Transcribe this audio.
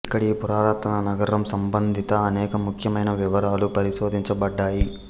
ఇక్కడ ఈ పురాతన నగరం సంబంధిత అనేక ముఖ్యమైన వివరాలు పరిశోధించబడ్డాయి